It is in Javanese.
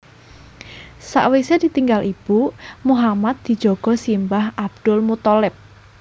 Sawisé ditinggal ibu Muhammad dijaga simbah Abdul Muththalib